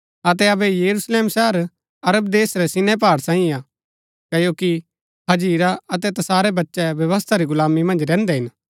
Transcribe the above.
अतै अबै यरूशलेम शहर अरब देश रै सीनै पहाड़ सांईये हा क्ओकि हाजिरा अतै तसारै बच्चै व्यवस्था री गुलामी मन्ज रैहन्दै हिन